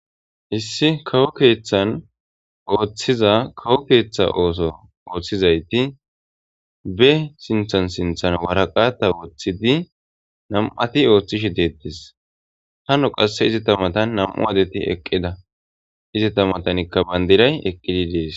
issi kawo keeththan ooththiza kawo keeththa ooso ooththizayti be sinthan sinthan waraqata woththidi nam7ati ooththishi deettis hano qasse izi tamatan nam7u adeti eqqida izi tamatankka bandiray eqqidi dees